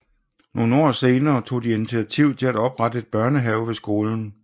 Nogle år senere tog de initiativ til at oprette en børnehave ved skolen